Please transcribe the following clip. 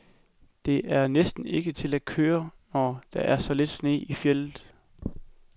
Det er næsten ikke til at køre, når der er så lidt sne i fjeldet.